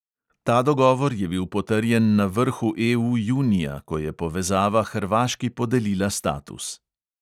Ta dogovor je bil potrjen na vrhu EU junija, ko je povezava hrvaški podelila status.